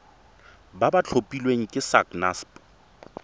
ba ba tlhophilweng ke sacnasp